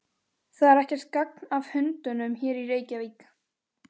Það er ekkert gagn af hundunum hér í Reykjavík.